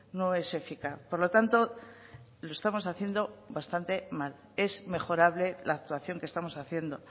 no es eficaz por lo tanto lo estamos haciendo bastante mal es mejorable la actuación que estamos haciendo